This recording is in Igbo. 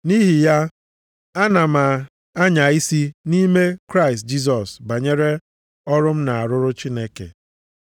Nʼihi ya, ana m anya isi nʼime Kraịst Jisọs banyere ọrụ m na-arụrụ Chineke.